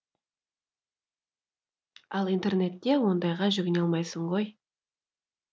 ал интернетте ондайға жүгіне алмайсың ғой